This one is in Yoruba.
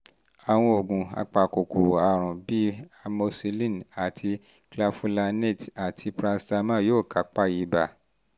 àwọn oògùn apakòkòrò àrùn bíi amoxicillin àti clavulanate àti paracetamol yóò kápá ibà